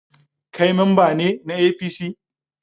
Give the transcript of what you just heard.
Kai mamba ne na APC?